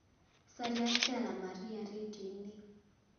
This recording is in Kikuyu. caria stella maria rĩndiũ-inĩ